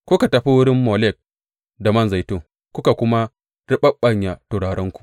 Kuka tafi wurin Molek da man zaitun kuka kuma riɓaɓɓanya turarenku.